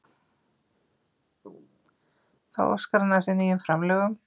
Þá óskar hann eftir nýjum framlögum